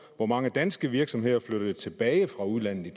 hvor mange danske virksomheder flyttede tilbage fra udlandet i